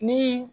Ni